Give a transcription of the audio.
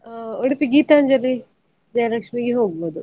ಹಾ Udupi Geethanjali Jayalaxmi ಗೆ ಹೋಗ್ಬೋದು.